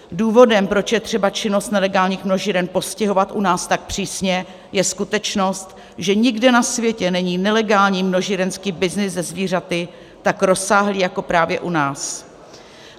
Důvodem, proč je třeba činnost nelegálních množíren postihovat u nás tak přísně, je skutečnost, že nikde na světě není nelegální množírenský byznys se zvířaty tak rozsáhlý jako právě u nás.